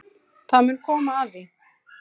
Það mun koma að því.